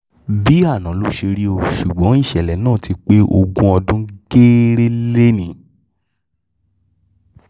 bíi àná ló ló ṣe rí o ṣùgbọ́n ìṣẹ̀lẹ̀ ọ̀hún ti pé ogún ọdún gééré lónì-ín